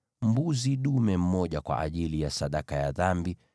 mbuzi dume mmoja kwa ajili ya sadaka ya dhambi;